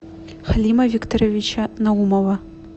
халима викторовича наумова